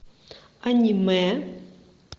анимэ